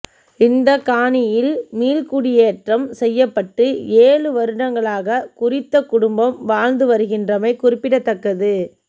இந்தக் காணியில் மீள்குடியேற்றம் செய்யப்பட்டு ஏழு வருடங்களாக குறித்த குடும்பம் வாழ்ந்து வருகின்றமை குறிப்பிடத்தக்கது